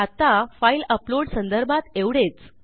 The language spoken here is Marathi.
आत्ता फाइल अपलोड संदर्भात एवढेच